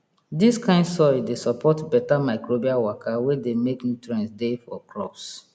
dis kind soil dey support beta microbial waka wey dey make nutrients dey for crops